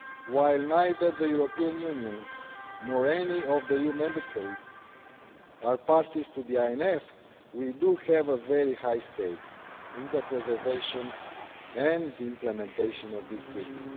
While neither the European Union nor any of the EU Member States are parties to the INF, we do have a very high stake in the preservation and the implementation of this treaty.